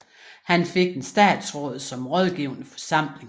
Han fik et statsråd som rådgivende forsamling